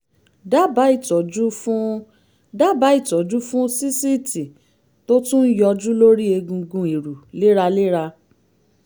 dábàá ìtọ́jú fún dábàá ìtọ́jú fún sísìtì tó tún ń yọjú lórí egungun ìrù léraléra